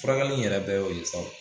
Furakɛli in yɛrɛ bɛɛ y'o ye sa o